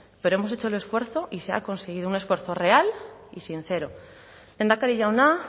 pero hemos hecho el esfuerzo y se ha conseguido un esfuerzo real y sincero lehendakari jauna